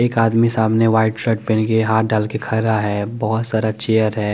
एक आदमी सामने वाइट शैर्ट पेहन के हाथ डाल के खड़ा है बोहोत सारा चेयर है ।